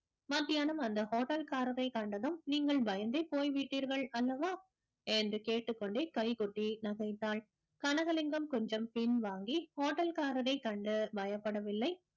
மத்தியானம் அந்த hotel காரரை கண்டதும் நீங்கள் பயந்தே போய்விட்டீர்கள் அல்லவா என்று கேட்டுக்கொண்டு கைகொட்டி நகைந்தாள் கனகலிங்கம் கொஞ்சம் பின் வாங்கி hotel காரரை கண்டு பயப்படவில்லை